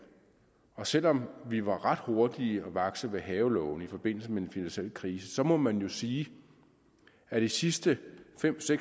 og selv om vi var ret hurtige og vakse ved havelågen i forbindelse med den finansielle krise må man jo sige at de sidste fem